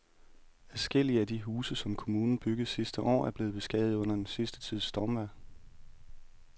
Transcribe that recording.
Adskillige af de huse, som kommunen byggede sidste år, er blevet beskadiget under den sidste tids stormvejr.